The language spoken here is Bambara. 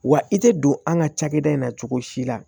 Wa i tɛ don an ka cakɛda in na cogo si la